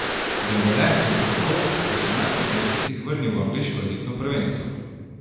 Dembele so bo tako po osemnajstih mesecih vrnil v angleško elitno prvenstvo.